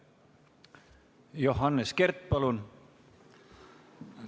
Johannes Kert, palun!